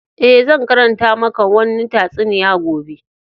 Eh, zan karanta maka wanni tatsuniya gobe.